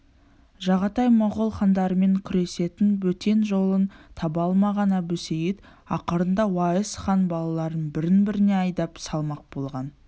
жағатай моғол хандарымен күресетін бөтен жолын таба алмаған әбусейіт ақырында уайс хан балаларын бірін-біріне айдап салмақ болған